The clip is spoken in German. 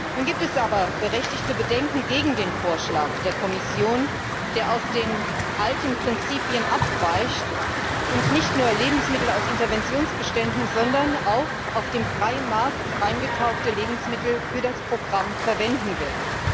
Nun gibt es aber berechtigte Bedenken gegen den Vorschlag der Kommission, der von den alten Prinzipien abweicht und nicht nur Lebensmittel aus Interventionsbeständen, sondern auch auf dem freien Markt eingekaufte Lebensmittel für das Programm verwenden will.